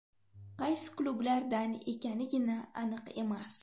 Qaysi klublardan ekanigina aniq emas.